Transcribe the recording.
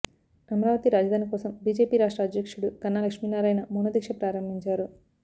అమరావతి రాజధాని కోసం బిజేపి రాష్ట్ర అధ్యక్షుడు కన్నా లక్ష్మి నారాయణ మౌన దీక్ష ప్రారంభించారు